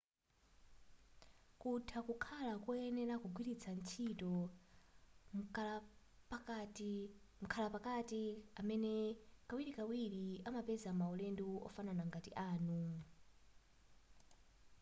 kutha kukhala koyenera kugwiritsa ntchito mkhalapakati amene kawirikawiri amapeza maulendo ofanana ngati anu